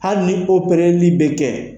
Hali ni bɛ kɛ.